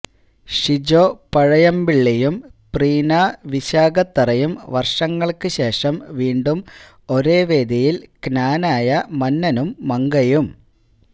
ഷീജോ പഴയമ്പളളിയും പ്രീനാ വിശാഖതറയും വർഷങ്ങൾക്ക് ശേഷം വീണ്ടും ഒരേവേദിയിൽ ക്നാനായ മന്നനും മങ്കയും